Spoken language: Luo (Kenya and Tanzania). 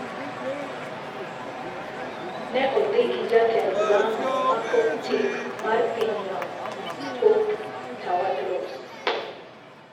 Ne odhi gi jatend lamo ma Coptic mar pinyno, Pope Tawadros.